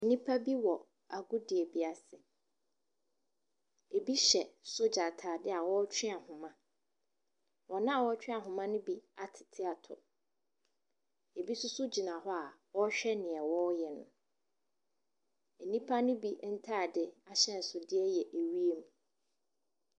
Nnipa bi wɔ agodie bi ase. Bi hyɛ sogya ataadeɛ a wɔretwe ahoma. Wɔn a wɔretwe ahoma ne bi atete atɔ, bi nso gyina hɔ a wɔrehwɛ deɛ wɔreyɛ no. Nnipa ne bi ntaade ahyɛnsodeɛ yɛ wiem.